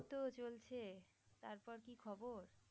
এই তো চলছে তারপর কি খবর?